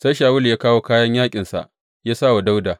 Sai Shawulu ya kawo kayan yaƙinsa ya sa wa Dawuda.